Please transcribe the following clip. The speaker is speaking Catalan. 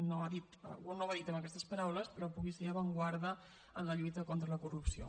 no ho ha dit amb aquestes paraules però pugui ser avantguarda en la lluita contra la corrupció